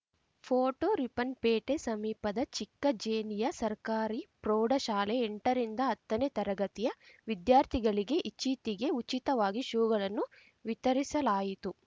photo Ripponpete ಸಮೀಪದ ಚಿಕ್ಕಜೇನಿಯ ಸರ್ಕಾರಿ ಪ್ರೌಢ ಶಾಲೆಯ ಎಂಟ ರಿಂದ ಹತ್ತನೇ ತರಗತಿಯ ವಿದ್ಯಾರ್ಥಿಗಳಿಗೆ ಇಚ್ಛಿತಿಗೆ ಉಚಿತವಾಗಿ ಶೂಗಳನ್ನು ವಿತರಿಸಲಾಯಿತು